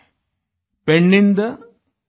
पैन्निदा पर्मेगोंडनू हिमावंतनु